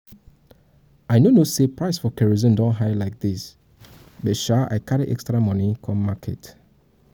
i no know say the price for kerosene don high like dis but sha i carry extra money come market